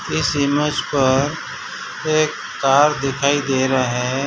इस इमेज पर एक कार दिखाई दे रहा है।